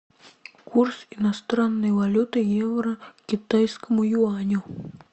курс иностранной валюты евро к китайскому юаню